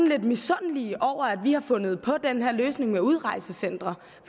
lidt misundelige over at vi har fundet på den her løsning med udrejsecentre